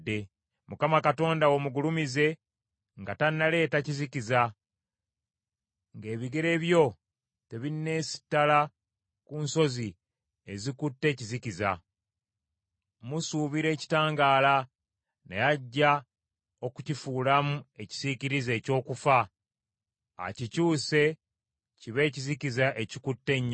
Mukama Katonda wo mugulumize nga tannaleeta kizikiza, nga ebigere byo tebinneesittala ku nsozi ezikutte ekizikiza. Musuubira ekitangaala, naye ajja okukifuulamu ekisiikirize eky’okufa akikyuse kibe ekizikiza ekikutte ennyo.